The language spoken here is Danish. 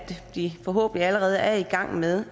de forhåbentlig allerede er i gang med